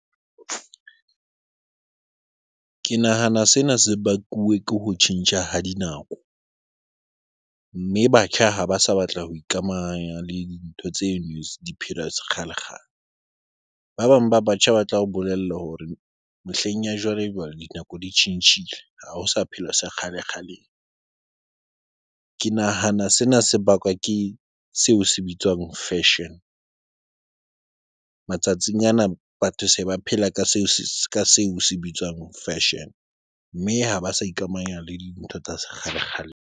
Ke nahana sena se bakuwe ke ho tjhentjha ha dinako mme batjha ha ba sa batla ho ikamanya le di ntho tse kgalekgale ba bang ba batjha ba tlao bolella hore mehleng ya jwalejwale, dinako di tjhentjhile. Ha ho sa phela sa kgale kgaleng. Ke nahana sena se bakwa ke seo se bitswang fashion matsatsing ana, batho se ba phela ka seo se ka seo se bitswang fashion mme ha ba sa ikamanya le dintho tsa sekgalekgaleng.